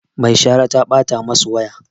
Mai shara ta ɓata masu waya